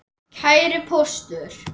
Kæri Póstur!